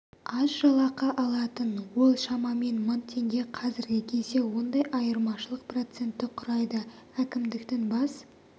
аз жалақы алатын ол шамамен мың теңге қазіргі кезде ондай айырмашылық процентті құрайды әкімдіктің бас